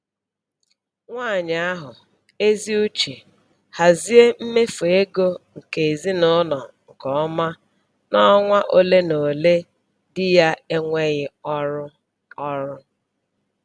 Nwanyị ahụ ezi uche hazie mmefu ego nke ezinụlọ nke ọma n'ọnwa ole na ole di ya enweghị ọrụ ọrụ